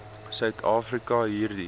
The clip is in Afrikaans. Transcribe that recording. suid afrika hierdie